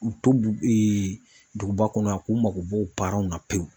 K'u to duguba kɔnɔ yan k'u mako b'o u la pewu.